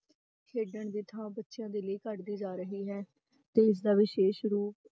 ਖੇਡਣ ਦੀ ਥਾਂ ਬੱਚਿਆਂ ਦੇ ਲਈ ਘੱਟਦੀ ਜਾ ਰਹੀ ਹੈ, ਤੇ ਇਸਦਾ ਵਿਸ਼ੇਸ਼ ਰੂਪ